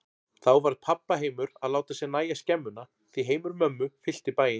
Þá varð pabba heimur að láta sér nægja skemmuna, því heimur mömmu fyllti bæinn.